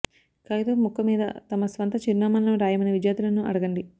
కాగితపు ముక్క మీద తమ స్వంత చిరునామాలను రాయమని విద్యార్థులను అడగండి